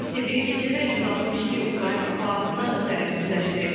Rusiya bir gecədə 162 Ukrayna PUA-sını zərərsizləşdirib.